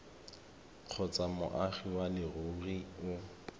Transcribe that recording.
kgotsa moagi wa leruri o